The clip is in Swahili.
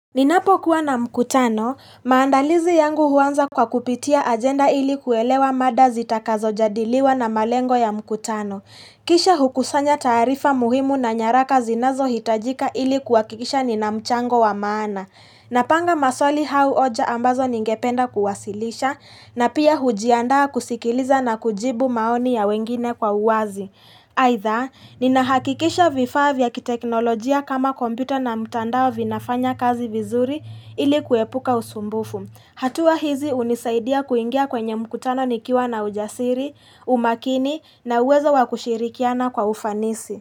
Ninapokuwa na mkutano, maandalizi yangu huanza kwa kupitia agenda ili kuelewa mada zitakazo jadiliwa na malengo ya mkutano. Kisha hukusanya taarifa muhimu na nyaraka zinazo hitajika ili kuwakikisha nina mchango wa maana. Napanga maswali hau oja ambazo ningependa kuwasilisha, na pia hujiandaa kusikiliza na kujibu maoni ya wengine kwa uwazi. Aitha, nina hakikisha vifaa vya kiteknolojia kama kompyuta na mtandao vinafanya kazi vizuri ili kuepuka usumbufu. Hatua hizi unisaidia kuingia kwenye mkutano nikiwa na ujasiri, umakini na uwezo wakushirikiana kwa ufanisi.